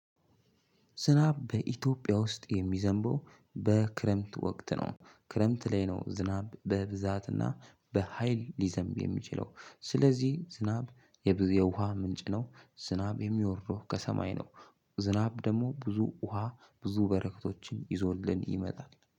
ዝናብ በኢትዮጵያ ውስጥ የሚዘንበው በክረምት ወቅት ነው ክረምት ላይ ነው። ዝናብ በብዛትና በሃይል ሊዘንብ የሚችለው። ስለዚህ ዝናብ የውሃ ምንጭ ነው። ዝናብ የሚወርደው ከሰማይ ነው። ዝናብ ደግሞ ብዙ ውሃ ብዙ በረከቶችን ይዞልን ይመጣል